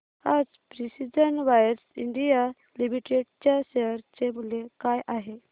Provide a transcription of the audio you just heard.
आज precision wires India limited च्या share चे मूल्य काय आहे